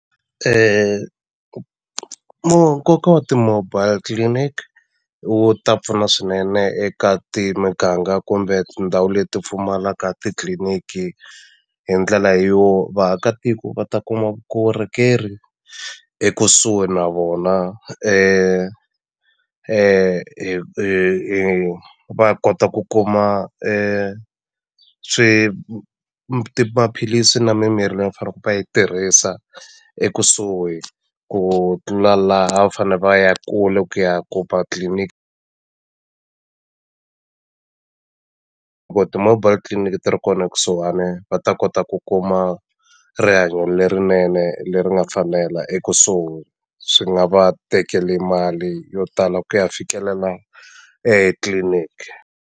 nkoka wa ti-mobile clinic wu ta pfuna swinene eka miganga kumbe tindhawu leti pfumalaka titliliniki hi ndlela yo vaakatiko va ta kuma vukorhokeri ekusuhi na vona hi hi hi va kota ku kuma maphilisi na mimirhi leyi va yi tirhisa ekusuhi ku tlula laha va fane va ya kule ku ya kuma tliliniki loko ti-mobile clinic ti ri kona ekusuhani va ta kota ku kuma rihanyo lerinene leri nga fanela ekusuhi swi nga va tekeli mali yo tala ku ya fikelela etliliniki.